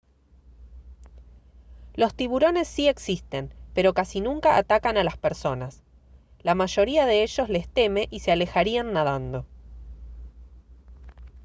los tiburones sí existen pero casi nunca atacan a las personas la mayoría de ellos les teme y se alejarían nadando